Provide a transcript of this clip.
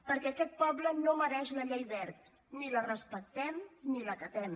perquè aquest poble no mereix la llei wert ni la respectem ni l’acatem